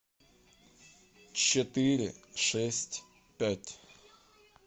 четыре шесть пять